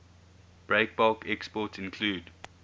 breakbulk exports include